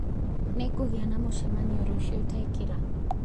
Nĩngũgĩa na mũcemanio rũciũ ta ĩkira